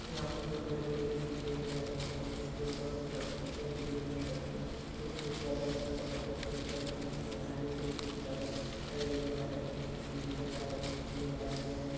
यहां पर कोई बड़े बड़े बिल्डिंग देखे जा सकते हैं जिसके ऊपर कुछ खिड़कियां भी देखी जा सकती हैं। कुछ खिड़कियां बंद हैं तथा कुछ खिड़कियां खुली हुई हैं। आगे वो दो पुलिस वाले खड़े देखे जा सकते हैं। कुछ सीढ़ी जैसा चढ़ने के लिए बनाया गया है।